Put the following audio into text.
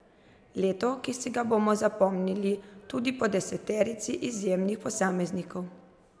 Leto, ki si ga bomo zapomnili tudi po deseterici izjemnih posameznikov.